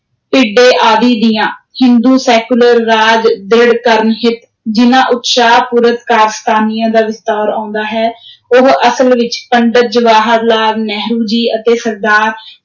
ਭਿੱਢੇ ਆਦਿ ਦੀਆਂ, ਹਿੰਦੂ ਸੈਕੂਲਰ ਰਾਜ ਦ੍ਰਿੜ ਕਰਨ ਹਿੱਤ, ਜਿਨ੍ਹਾਂ ਉਤਸ਼ਾਹ-ਪੂਰਤ ਕਾਰਸਤਾਨੀਆਂ ਦਾ ਵਿਸਤਾਰ ਆਉਂਦਾ ਹੈ ਉਹ ਅਸਲ ਵਿਚ ਪੰਡਤ ਜਵਾਹਰ ਲਾਲ ਜੀ ਅਤੇ ਸਰਦਾਰ